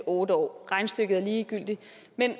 otte år regnestykket er ligegyldigt